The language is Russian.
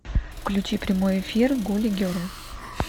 включи прямой эфир гули герл